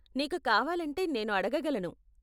నీకు కావాలంటే నేను అడగగలను.